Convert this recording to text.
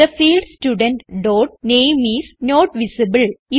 the field student dot name is not visible